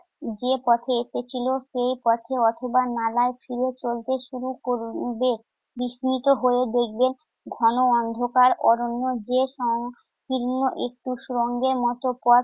যে পথে এসেছিল সে পথে অথবা নালায় ফিরে চলতে শুরু করবে। বিস্মিত হয়ে দেখবেন ঘন অন্ধকার অরণ্য যে সংকীর্ণ একটু সুড়ঙ্গের মত পথ